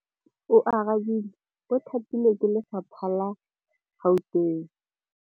Oarabile o thapilwe ke lephata la Gauteng.